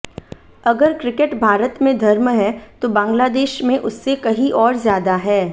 अगर क्रिकेट भारत में धर्म है तो बांग्लादेश में उससे कहीं और ज्यादा है